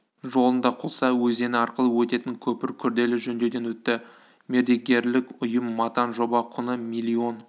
жолында құлса өзені арқылы өтетін көпір күрделі жөндеуден өтті мердігерлік ұйым матан жоба құны миллион